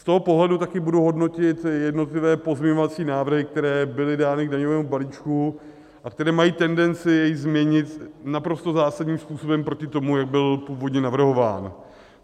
Z toho pohledu taky budu hodnotit jednotlivé pozměňovací návrhy, které byly dány k daňovému balíčku a které mají tendenci jej změnit naprosto zásadním způsobem proti tomu, jak byl původně navrhován.